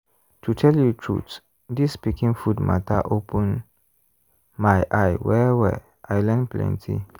to tell you truth this pikin food matter open my eye well-well i learn plenty.